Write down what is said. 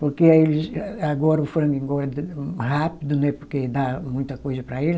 Porque eles, a agora o frango engorda rápido, né porque dá muita coisa para ele.